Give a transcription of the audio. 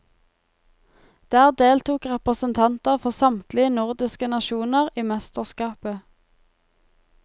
Der deltok representanter for samtlige nordiske nasjoner i mesterskapet.